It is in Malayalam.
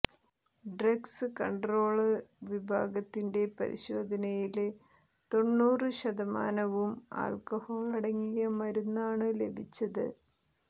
ഡ്രഗ്സ് കണ്ട്രോള് വിഭാഗത്തിന്റെ പരിശോധനയില് തൊണ്ണൂറു ശതമാനവും ആൾക്കഹോളടങ്ങിയ മരുന്നാണു ലഭിച്ചത്